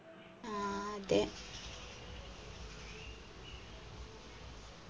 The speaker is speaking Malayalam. ആ അതെ